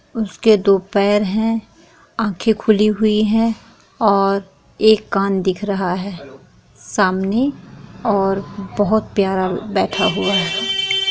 उसके दो पैर हैं आँखे खुली हुई हैं और एक कान दिख रहा है सामने और बहुत प्यारा बैठा हुआ है।